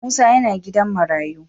Musa yana gidan marayu.